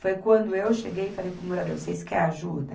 Foi quando eu cheguei e falei para o morador, vocês quer ajuda?